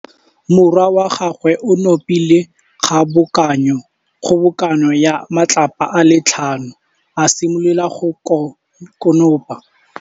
Morwa wa gagwe o nopile kgobokanô ya matlapa a le tlhano, a simolola go konopa.